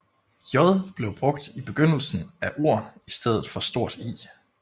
J blev brugt i begyndelsen af ord i stedet for stort I